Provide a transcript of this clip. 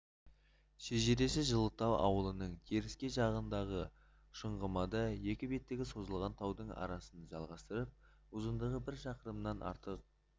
шежіреші жылытау ауылының теріскей жағындағы шұңғымада екі беттегі созылған таудың арасын жалғастырып ұзындығы бір шақырымнан артық